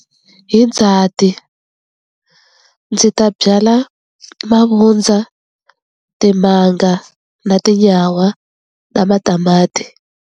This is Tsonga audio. Hi Ndzati ndzi ta byala mavundza, timanga na tinyawa na matamati.